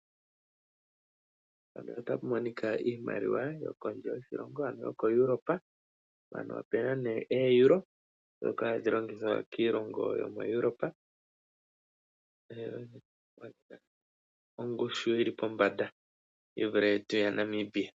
Iimaliwa yokondje yoshilongo koEuropa oeuro. Iimaliwa mbyoko hayi longithwa kiilongo yokoEuropa noyina ongushu yili pombanda yi vule iimaliwa yetu yaNamibia.